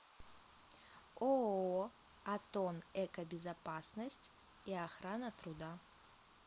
ооо атон экобезопасность и охрана труда